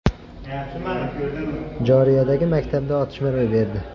Jorjiyadagi maktabda otishma ro‘y berdi.